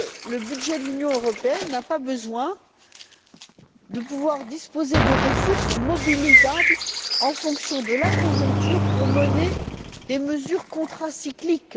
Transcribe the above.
Le budget de l'Union européenne n'a t il pas besoin de pouvoir disposer de ressources mobilisables en fonction de la conjoncture pour mener des mesures contracycliques?